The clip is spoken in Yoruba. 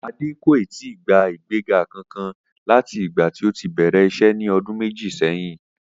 Adé kò ì tíì gba ìgbéga kankan láti ìgbà tí ó ti bè̩rè̩ is̩é̩ ní o̩dún méjì sé̩yìn